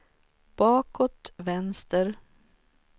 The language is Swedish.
bakåt vänster